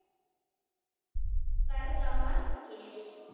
Verða margir?